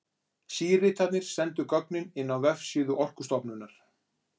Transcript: Síritarnir sendu gögnin inn á vefsíðu Orkustofnunar.